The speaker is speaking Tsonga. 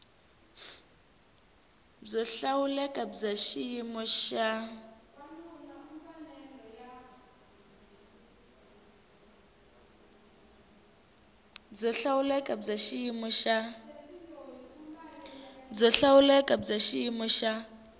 byo hlawuleka bya xiyimo xa